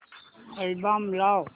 album लाव